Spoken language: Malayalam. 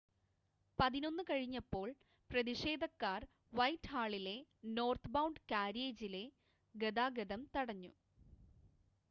11:00 കഴിഞ്ഞപ്പോൾ പ്രതിഷേധക്കാർ വൈറ്റ്ഹാളിലെ നോർത്ത്ബൗണ്ട് കാര്യേജിലെ ഗതാഗതം തടഞ്ഞു